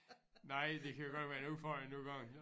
Nej det kan godt være en udfordring nogle gange